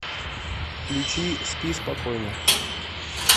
включи спи спокойно